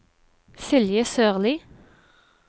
Silje Sørli